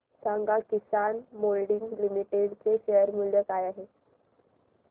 सांगा Kisan Moulding Limited चे शेअर मूल्य काय आहे